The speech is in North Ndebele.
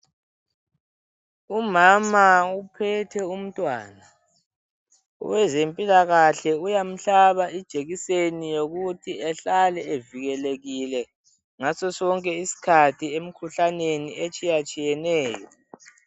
Umama uphethe umntwana owezempilakahle uyamhlaba ijekiseni yokuthi ehlale evikelekile ngaso sonke isikhathi kumikhuhlane etshiye tshiyeneyo.